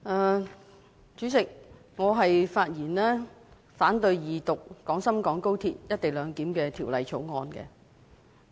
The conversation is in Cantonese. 代理主席，我發言反對恢復二讀《廣深港高鐵條例草案》。